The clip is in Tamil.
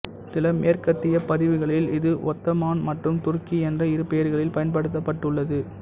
சில மேற்கத்திய பதிவுகளில் இது ஒத்தமான் மற்றும் துருக்கி என்ற இரு பெயர்களில் பயன்படுத்தப்பட்டுள்ளது